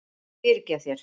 Ég fyrirgef þér.